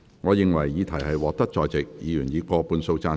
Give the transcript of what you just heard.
我認為議題獲得在席議員以過半數贊成。